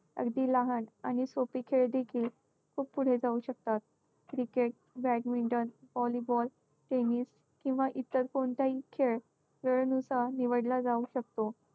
अगदी लहान आणि सोपे खेळ देखील खूप पुढे जाऊ शकतात. cricket, badminton, volleyball, tennis किंवा इतर कोणताही खेळ वेळेनुसार निवडला जाऊ शकतो.